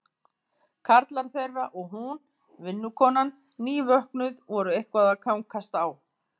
Karlar þeirra og hún, vinnukonan, nývöknuð, voru eitthvað að kankast á.